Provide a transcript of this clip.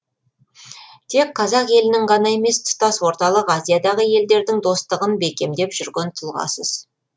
тек қазақ елінің ғана емес тұтас орталық азиядағы елдердің достығын бекемдеп жүрген тұлғасыз